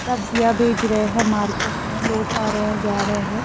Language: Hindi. सब्जियां बेच रहे हैं मार्केट में लोग आ रहे हैं जा रहे हैं।